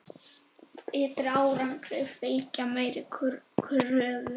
Betri árangri fylgja meiri kröfur.